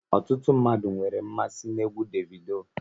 Ọtụtụ mmadụ nwere mmasị na egwú Davido